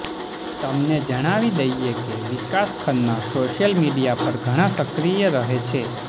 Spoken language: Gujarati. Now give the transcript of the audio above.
તમને જણાવી દઈએ કે વિકાસ ખન્ના સોશિયલ મીડિયા પર ઘણા સક્રિય રહે છે